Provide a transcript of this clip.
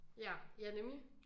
Ja ja nemlig